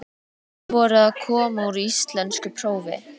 Þær voru að koma úr íslenskuprófi.